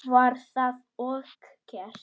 Var það og gert.